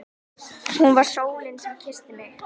Hún var sólin sem kyssti mig.